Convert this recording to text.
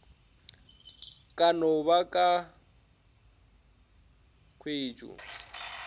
ka no ba ka khwetšo